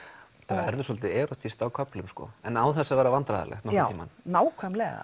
verður svolítið erótískt á köflum en án þess að verða vandræðalegt já nákvæmlega